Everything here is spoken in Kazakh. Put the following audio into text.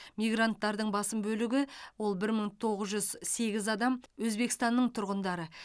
мигранттардың басым бөлігі ол бір мың тоғыз жүз сегіз адам өзбекстанның тұрғындары